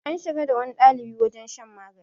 an shiga da wani ɗalibi wajen shan magani